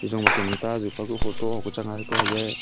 ejong ma kem ang ta azu pa kuh photo hoku chang aa haiko hayae--